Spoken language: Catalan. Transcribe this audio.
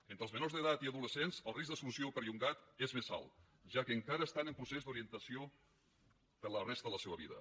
entre els menors d’edat i adolescents el risc d’exclusió perllongat és més alt ja que encara estan en procés d’orientació per a la resta de la seua vida